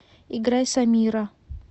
играй самира